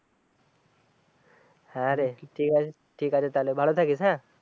হ্যাঁ রে ঠিক আছে তাইলে ভালো থাকিস হ্যাঁ